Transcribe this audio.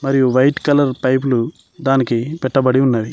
White colour pipe దానికి పెట్టబడి ఉన్నది.